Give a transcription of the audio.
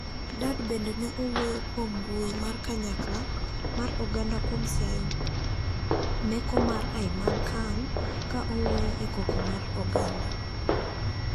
Dad bende ne owuoyo kuom mbui mar kanyakla mar oganda kuom siayo meko mar Aimal Khan ,ka owuoyo ekoko mar oganda.